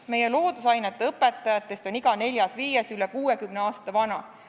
Meie loodusainete õpetajatest on iga neljas-viies üle 60 aasta vana.